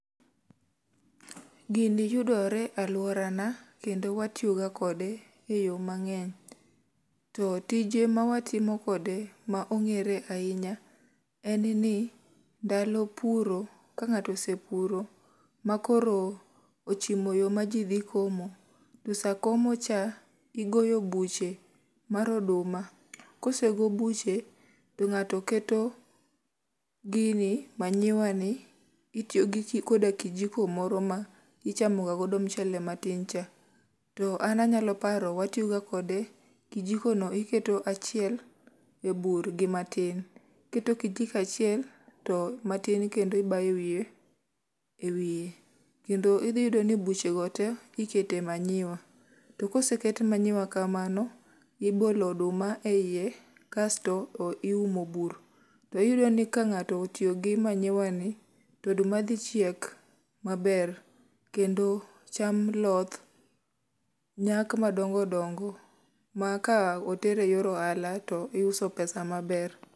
Gini yudore alworana, kendo watiyoga kode e yo mangény. To tije ma watimo kode ma ongére ahinya, en ni ndalo puro, ka ngáto osepuro ma koro ochimo yo ma ji dhi komo. To sa komo cha, igoyo buche mar oduma, kosego buche to ngáto keto gini, manyiwani, itiyo gi koda kijiko moro ma ichamo ga godo mchele matin cha. To an anyalo paro watiyoga kode, kijikono iketo achiel e bur gi matin, iketo kijiko achiel, to matin kendo ibayo e wiye, e wiye, kendo idhi yudo ni buche go te, ikete manyiwa. To koseket manyiwa kamano, ibolo oduma e iye, kast, iumo bur. To iyudo ni ka ngáto otiyo gi manyiwa ni, to oduma dhi chiek, maber. Kendo cham loth, nyak madongo dongo ma ka oter e yor ohala, to iuso pesa maber.